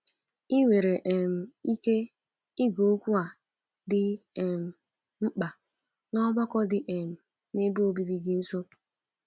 Ị nwere um ike ige okwu a dị um mkpa ná ọgbakọ dị um n’ebe obibi gị nso.